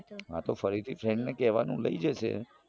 હતો ફરીથી friend ને કેવાનું લઇ જશે